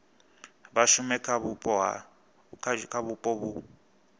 vha shume kha vhupo vhu